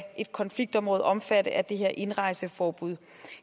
et konfliktområde omfatte af det her indrejseforbud